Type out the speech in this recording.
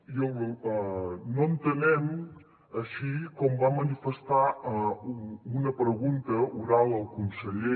i no entenem així com va manifestar en una pregunta oral el conseller